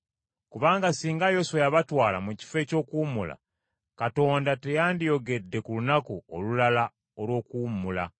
Kubanga singa Yoswa yabatwala mu kifo eky’okuwummula, Katonda teyandiyogedde ku lunaku olulala olw’okuwummula.”